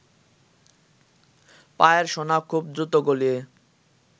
পায়ের সোনা খুব দ্রুত গলিয়ে